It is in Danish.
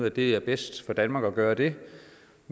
at det er bedst for danmark at gøre det